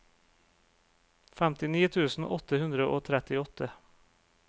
femtini tusen åtte hundre og trettiåtte